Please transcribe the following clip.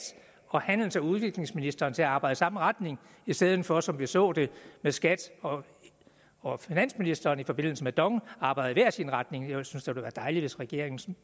og handels og udviklingsministeren til at arbejde i samme retning i stedet for at de som vi så det med skat og og finansministeren i forbindelse med dong arbejder i hver sin retning jeg synes da det ville være dejligt hvis regeringens